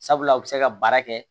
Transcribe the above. Sabula u bɛ se ka baara kɛ